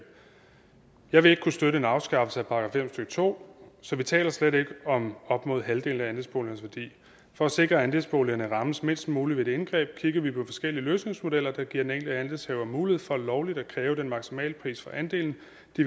jeg vil ikke kunne støtte en afskaffelse af § fem stykke to så vi taler slet ikke om op mod halvdelen af andelsboligernes værdi for at sikre at andelsboligerne rammes mindst muligt ved et indgreb kigger vi på forskellige løsningsmodeller der giver den enkelte andelshaver mulighed for lovligt at kræve den maksimale pris for andelen